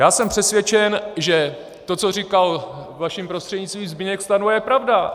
Já jsem přesvědčen, že to, co říkal vaším prostřednictvím Zbyněk Stanjura, je pravda.